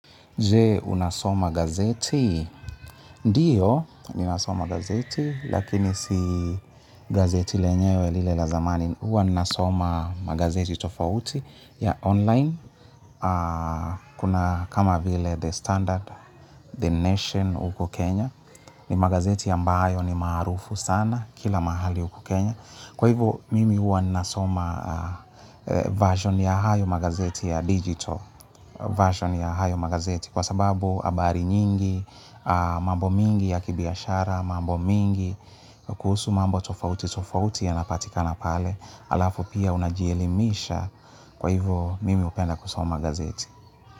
Je unasoma gazeti, ndiyo, ninasoma gazeti, lakini si gazeti lenyewe lile la zamani, huwa nasoma magazeti tofauti ya online, kuna kama vile The Standard, The Nation uko Kenya, ni magazeti ambayo ni maarufu sana, kila mahali huku Kenya. Kwa hivyo mimi huwa nasoma version ya hayo magazeti ya digital version ya hayo magazeti kwa sababu habari nyingi mambo mingi ya kibiashara mambo mingi kuhusu mambo tofauti tofauti yanapatikana pale alafu pia unajielimisha kwa hivo mimi hupenda kusoma gazeti.